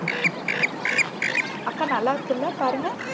அக்கா நல்லாருக்குல்ல பாருங்க.